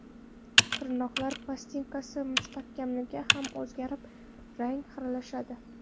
Tirnoqlar plastinkasi mustahkamligi ham o‘zgarib, rangi xiralashadi.